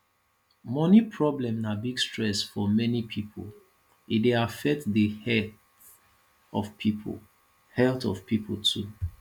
money problem na big stress for many people e dey affect di health of pipo health of pipo too